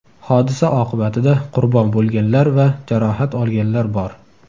Hodisa oqibatida qurbon bo‘lganlar va jarohat olganlar bor.